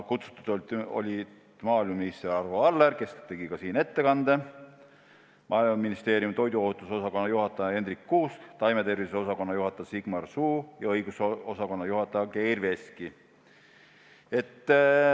Kutsutud olid maaeluminister Arvo Aller, kes tegi täna ka siin ettekande, Maaeluministeeriumi toiduohutuse osakonna juhataja Hendrik Kuusk, taimetervise osakonna juhataja Sigmar Suu ja õigusosakonna juhataja Geir Veski.